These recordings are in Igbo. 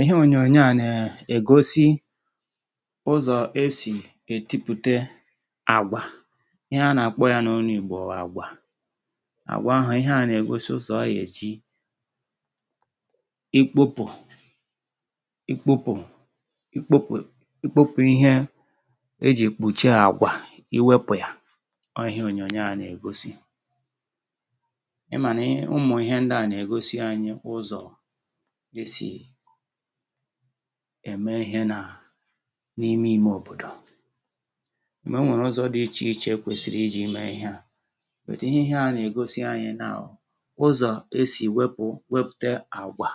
Ihe onyonyo a nà-egosi, bụ ụzọ e si ètipụ̀tà àgwà. Ihe a anyị nà-akpọ n’Igbo àgwà, onyonyo ahụ nà-egosi ụzọ e si ètipụ̀ ya, um na otu e si ewepụ̀ mkpuchi ya ma ọ bụ abụbọ̀ ya. Ọ nà-egosikwa na n’ime obodo, e nwere ụzọ dị iche iche ndị mmadụ si eme ya, um dịka ihe ha ji arụ ọrụ si dị. Onyonyo a nà-egosi anyị ụzọ e si ewepụ̀ ma ọ bụ ètipụ̀tà àgwà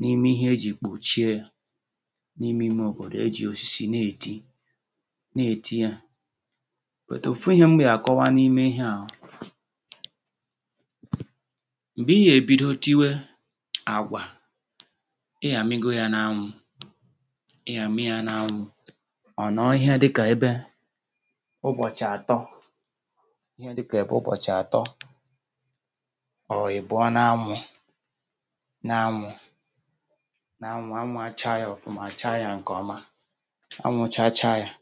n’ime mkpuchi ya n’ime obodo. Ụfọdụ ebe, um ndị mmadụ nà-eji osisi na-èti ya nwayọọ nwayọọ, ruo mgbe mkpuchi ahụ malitere ịtọpụ̀. Mgbe ahụ gasịrị, um ha nà-awụpụ̀ ya, na-etinye ya n’anwụ a nà-akpọ nke a ìyàmìgò n’anwụ (ịdòbe n’anwụ ka o kpoo). Ha na-ahapụ ya n’anwụ ihe dị ka ụbọchị atọ, ma ọ bụ mgbe ụfọdụ ụbọchị abụọ ma ọ bụ atọ, um ruo mgbe anwụ chachaa ya nke ọma. Mgbe o chachara nke ọma, ha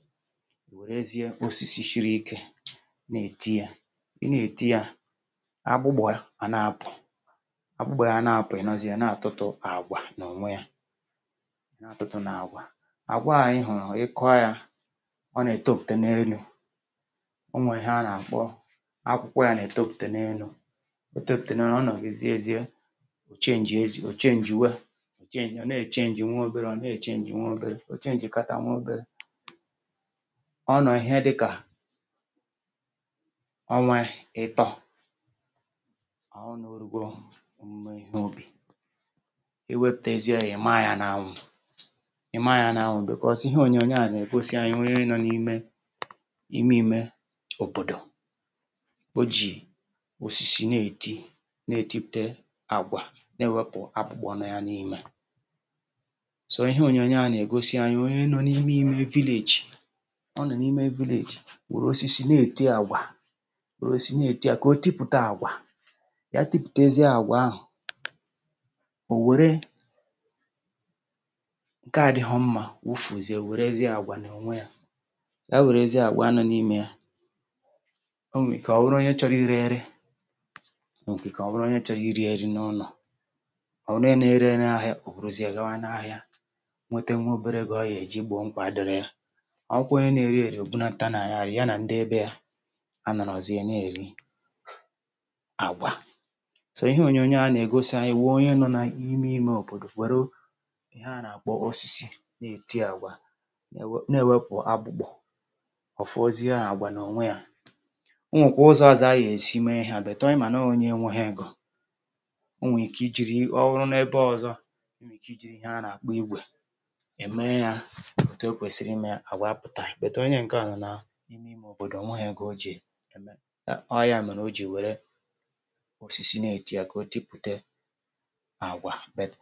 nà-eji osisi siri ike na-èti ya. Ha nà-èti ya ugboro ugboro ruo mgbe mkpuchi àgwà ahụ kewapụ̀ na mkpụrụ ya. Ka ha na-èti ya, um abụbọ̀ àgwà ahụ nà-adapụ̀, ebe mkpụrụ àgwà dị ọcha nà-apụta n’elu. Ị ga-ahụ abụbọ̀ ahụ na-apụta elu nke ahụ ka e nà-akpọ akwụkwọ àgwà. Mgbe mkpụrụ àgwà ahụ pụtara nke ọma, um ha nà-ekewapụ̀ ha nke ọma. Mgbe e mesịrị, ha nà-ahapụ̀ ya ka ọ nọọ ihe dị ka ọnwa otu, ka ọ wee sie ike nke ọma. Mgbe nke ahụ gasịrị, um ha nwere ike ịdòbe ya ọzọ n’anwụ nke ọzọ a na-akpọkwa ị maa ya n’anwụ. Onyonyo a nà-egosikwa onye nọ n’ime obodo, nà-eji osisi na-èti ma na-ètipụ̀tà àgwà, um na-ewepụ̀ abụbọ̀ ya ma ọ bụ akpụkpọ̀ ya. Yabụ, ihe onyonyo a nà-egosi bụ onye nọ n’ime ime obodo, nà-eji osisi arụ ọrụ iji tipụ̀tà àgwà, um ruo mgbe mkpụrụ dị ọcha pụtara. Mgbe e mesịrị, ha nà-ekewapụ̀ nke ọma, kpọchie nke ọjọọ, hapụ nke ọma. Onye ahụ nwere ike ire ya n’ahịa, ma ọ bụ were ya n’ụlọ iri. Ọ bụrụ na ọ ree ya, um ọ nwere ike nweta obere ego, iji kwụọ obere ụgwọ. Ọ bụrụ na ọ rie ya, ọ na-abụ nri n’ụlọ. Ụzọ a e si na-èti àgwà iji wepụ̀ mkpuchi ya bụ ụzọ omenala, nke e jiri eme ihe n’obodo kemgbe ọtụtụ afọ. Ọ nà-egosikwa na e nwere ụzọ dị iche iche e si àtipụ̀ àgwà. Ụfọdụ nà-eji osisi, um ụfọdụ nà-eji ihe a na-akpọ ígwè. Ma ihe dị mkpa bụ na a ghaghị ime ya nwayọọ nwayọọ ka mkpụrụ àgwà ahụ pụta nke ọma. N’ikpeazụ, um onyonyo a nà-akụzi anyị na ọrụ a nà-enyere ndị obodo inweta ego, ma na-enye ha nri n’ụlọ ha. Nke ahụ bụkwa ihe kpatara ha ji eji osisi na-èti àgwà, ka ha wee tipụ̀tà ya nke ọma.